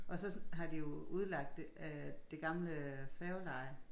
Og så har de jo udlagt det af det gamle færgeleje